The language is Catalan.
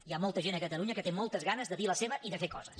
hi ha molta gent a catalunya que té moltes ganes de dir la seva i de fer coses